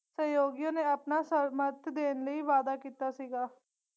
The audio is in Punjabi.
ਸਹਿਯੋਗੀਆਂ ਨੇ ਆਪਣਾ ਸਰ੍ਮਥ ਦੇਣ ਲਈ ਵਾਦਾ ਕੀਤਾ ਸੀਗਾ।